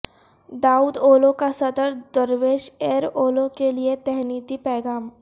داود اولو کا صدر درویش ایر اولو کے لئے تہنیتی پیغام